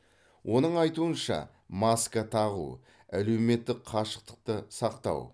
оның айтуынша маска тағу әлеуметтік қашықтықты сақтау